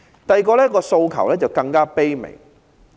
第二個訴求更加卑微。